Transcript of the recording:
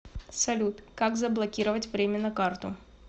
салют как заблокировать временно карту